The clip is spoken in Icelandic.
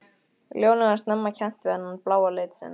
Lónið var snemma kennt við þennan bláa lit sinn.